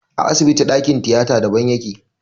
A asibiti ɗakin tiyata daban yake.